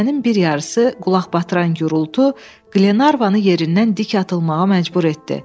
Gecənin bir yarısı qulaq batıran gurultu Qlenarvanı yerindən dik atılmağa məcbur etdi.